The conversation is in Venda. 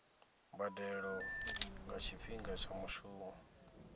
mbadelo nga tshifhinga tsha mushumo